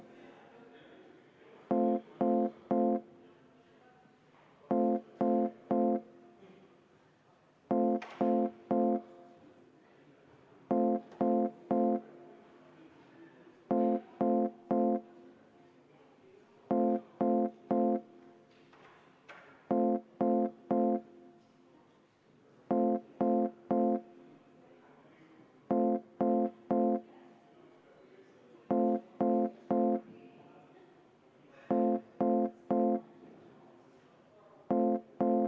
Paluks ka seda muudatusettepanekut hääletada ja väikese kõrvalepõikena ka väike kümneminutiline vaheaeg võtta!